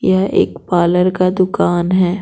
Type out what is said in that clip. यह एक पार्लर का दुकान है।